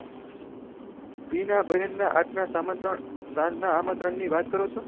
બીના બેહેન ના આજના સાંજના આમંત્રણ ની વાત કરો છો